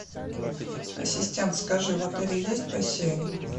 ассистент скажи в отеле есть бассейн